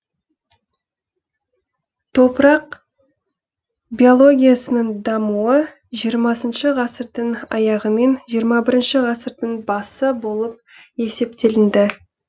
топырақ биологиясының дамуы жиырмасыншы ғасырдың аяғымен жиырма бірінші ғасырдың басы болып есептеленді